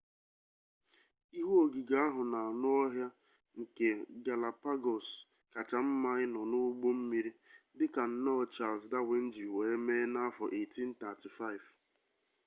ihu ogige ahu na anu-ohia nke galapagos kacha nma ino n'ugbo mmiri dika nnoo charles darwin ji wee mee na-afo 1835